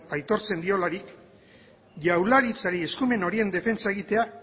aitortzen diolarik jaurlaritzari eskumen horien defentsa egitea